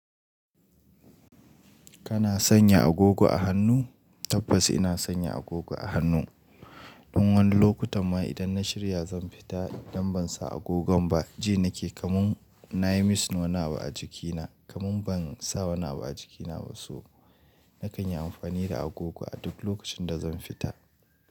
Kana sanya agogo a hannu? Tabbas ina sanya agogo a hannu. Tun wani lokuta ma idan na shirya zan fita idan ban sa agogon ba, ji nake kaman na yi missing wani abu a jikina, kaman ban sa wani abu a jikina ba so. Nakan yi amfani da agogo a duk lokacin da zan fita.